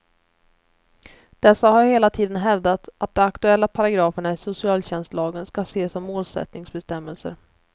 Dessa har hela tiden hävdat att de aktuella paragraferna i socialtjänstlagen ska ses som målsättningsbestämmelser.